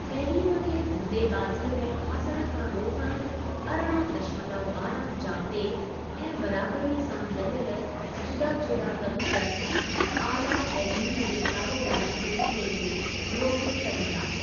तइलीम खे धंधेबाज़ीअ में फासण खां रोकणु अरिड़ह दशमलव ॿारहां जाब्ते ऐं बराबरीअ सां गॾियल जुदा जुदा तंत्र, आला तइलीम जे कारोबारी सिलसिले खे रोके सघंदा।